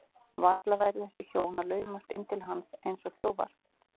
Varla færu þessi hjón að laumast inn til hans eins og þjófar.